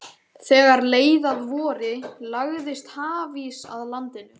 Þegar leið að vori lagðist hafís að landinu.